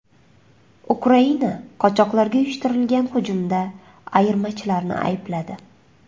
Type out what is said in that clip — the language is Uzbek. Ukraina qochoqlarga uyushtirilgan hujumda ayirmachilarni aybladi.